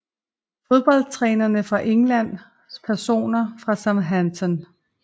Fodboldtrænere fra England Personer fra Southampton